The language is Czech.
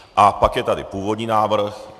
A pak je tady původní návrh.